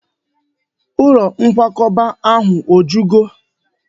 Ụlọ nkwakọba ahụ o jugo?